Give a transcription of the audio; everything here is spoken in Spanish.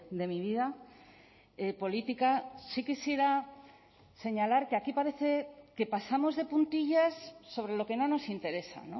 de mi vida política sí quisiera señalar que aquí parece que pasamos de puntillas sobre lo que no nos interesa